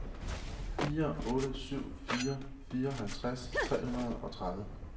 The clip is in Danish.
fire otte syv fire fireoghalvtreds tre hundrede og tredive